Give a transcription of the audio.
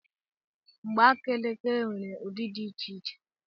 Mgbaaka elekere nwere ụdị dị iche iche.